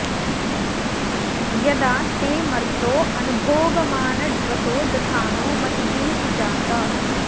य॒दा ते॒ मर्तो॒ अनु॒ भोग॒मान॒ड्वसो॒ दधा॑नो म॒तिभिः॑ सुजात